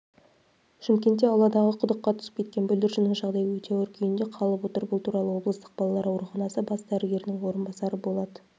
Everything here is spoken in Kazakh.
шымкентте ауладағы құдыққа түсіп кеткен бүлдіршіннің жағдайы өте ауыр күйінде қалып отыр бұл туралы облыстық балалар ауруханасы бас дәрігерінің орынбасары болат